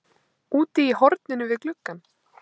Úti í horninu við gluggann